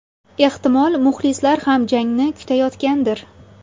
Ehtimol, muxlislar ham jangni kutayotgandir.